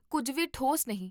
ਕੁੱਝ ਵੀ ਠੋਸ ਨਹੀਂ